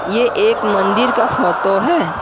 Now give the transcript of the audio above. ये एक मंदिर का फोटो है।